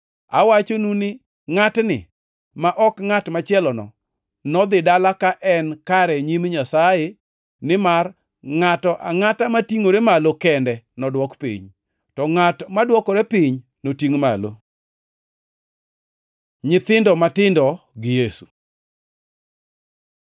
“Awachonu ni ngʼatni, ma ok ngʼat machielono, nodhi dala ka en kare e nyim Nyasaye. Nimar ngʼato angʼato matingʼore malo kende nodwok piny, to ngʼat madwokore piny notingʼ malo.” Nyithindo matindo gi Yesu